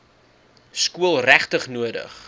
skool regtig nodig